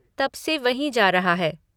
तब से वहीं जा रहा है।